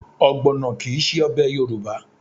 Ọgbọ̀nọ kì í ṣe ọbẹ̀ Yorùbá